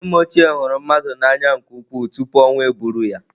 Nne m ochie hụrụ mmadụ n'anya nke ukwuu tupu ọnwụ eburu ya.